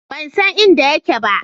Ban san inda yake ba.